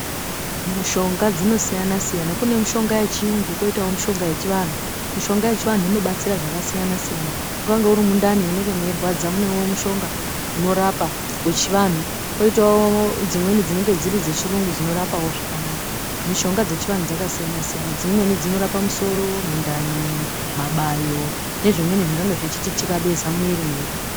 Mushonga dzinosiyana siyana kunemishonga yechiyungu koitawo mushonga yechivanhu, mushonga yechivanhu inobatsira zvakasiyana siyana kunyangwe urimundani munenge mweirwadza munewo mushonga unorapa wechivanhu, poitawo dzimweni dzinenge dziri dzechirungu dzinorapawo zvakanaka. Mishonga dzechivanhu dzakasiyana siyana dzimweni dzinorapa musoro ,mundani, mabayo nezvimweni zvingange zvichiti tikabeza mumwiri mwedu.